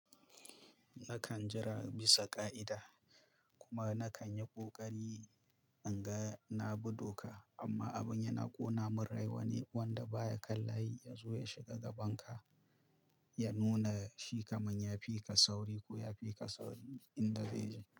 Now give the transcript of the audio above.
Nakan jira bisa ka'ida kuma nakan yi ƙoƙari in ga na bi doka amma abin yana ƙona min rai wane wanda baya kan layi ya zo ya shiga gaban ka ya nuna shi kamar ya fi ka sauri ko ya fi ka sauri in da zai je.